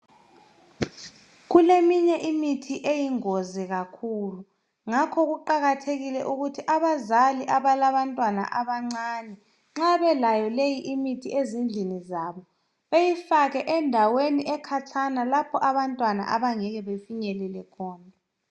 kuleminye imithi eyingozi kakhulu ngakho kuqakathekile kakhulu ukuthi abazali abalabantwana abancane nxa belayo leyi imithi ezindlini zabo beyifake endaweni ekhatshana lapho abantwana abangeke befinyelele khona